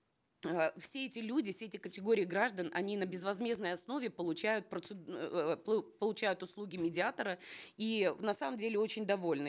э все эти люди все эти категории граждан они на безвозмездной основе получают получают услуги медиатора и на самом деле очень довольны